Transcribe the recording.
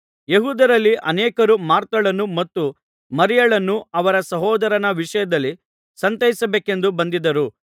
ಯೆಹೂದ್ಯರಲ್ಲಿ ಅನೇಕರು ಮಾರ್ಥಳನ್ನು ಮತ್ತು ಮರಿಯಳನ್ನು ಅವರ ಸಹೋದರನ ವಿಷಯದಲ್ಲಿ ಸಂತೈಸಬೇಕೆಂದು ಬಂದಿದ್ದರು